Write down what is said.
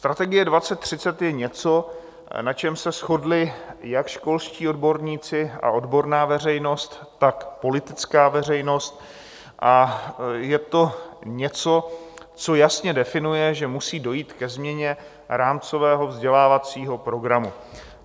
Strategie 2030 je něco, na čem se shodli jak školští odborníci a odborná veřejnost, tak politická veřejnost, a je to něco, co jasně definuje, že musí dojít ke změně rámcového vzdělávacího programu.